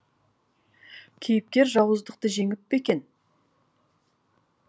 кейіпкер жауыздықты жеңіп пе екен